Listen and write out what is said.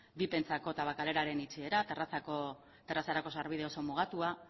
vipentzako tabakaleraren itxiera terrazarako sarbide oso mugatua